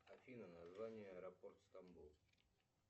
афина название аэропорт стамбул